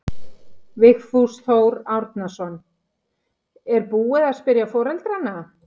Vigfús Þór Árnason: Er búið að spyrja foreldrana?